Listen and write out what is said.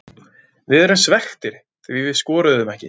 Við erum svekktir því við skoruðum ekki.